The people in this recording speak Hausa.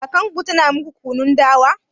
Kakarku tana muku kunun dawa?